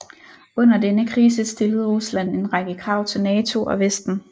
Under denne krise stillede Rusland en række krav til NATO og Vesten